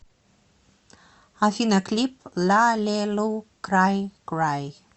афина клип ла ле лу край край